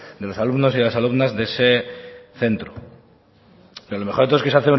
de los alumnos y de las alumnas de ese centro pero lo mejor de todo es que